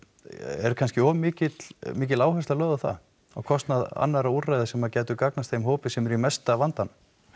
er kannski of mikil mikil áhersla lögð á það á kostnað annara úrræða sem að gætu gagnast þeim hópi sem er í mesta vandanum